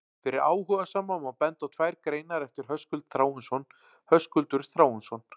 Fyrir áhugasama má benda á tvær greinar eftir Höskuld Þráinsson: Höskuldur Þráinsson.